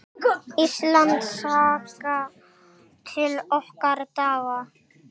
Íslandssaga: til okkar daga.